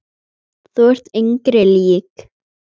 Þú ert engri lík.